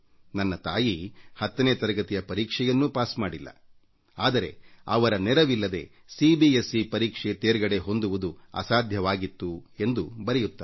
ನನ್ನ ತಾಯಿ 10 ನೇ ತರಗತಿಯ ಪರೀಕ್ಷೆಯನ್ನೂ ಪಾಸ್ ಮಾಡಿಲ್ಲ ಆದರೆ ತಮಗೆ ಅವರ ಸಹಾಯವಿಲ್ಲದೆ ಸಿ ಬಿ ಎಸ್ ಸಿ ಪರೀಕ್ಷೆ ತೇರ್ಗಡೆ ಹೊಂದುವುದು ಅಸಾಧ್ಯವಾಗಿತ್ತು ಎಂದು ಬರೆಯುತ್ತಾರೆ